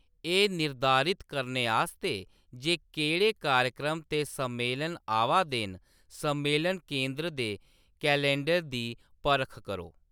एह्‌‌ निर्धारित करने आस्तै जे केह्‌‌ड़े कार्यक्रम ते सम्मेलन आवा दे न, सम्मेलन केन्द्र दे कैलेंडर दी परख करो।